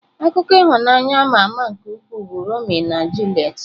Akụkọ ịhụnanya ama ama nke ukwuu bụ Romeo na Juliet.